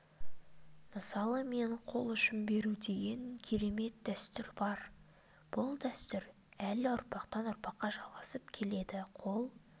мысалы қол ұшын беру деген керемет дәстүр бар бұл дәстүр әлі ұрпақтан ұрпаққа жалғасып келеді қол